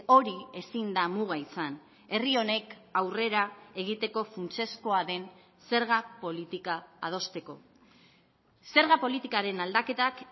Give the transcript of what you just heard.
hori ezin da muga izan herri honek aurrera egiteko funtsezkoa den zerga politika adosteko zerga politikaren aldaketak